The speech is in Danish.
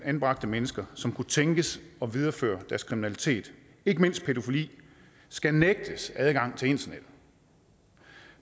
anbragte mennesker som kunne tænkes at videreføre deres kriminalitet ikke mindst pædofili skal nægtes adgang til internettet